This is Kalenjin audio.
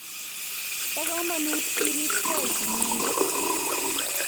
Bo komanut iriib keei inyendet